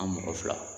An mɔgɔ fila